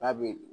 N'a bɛ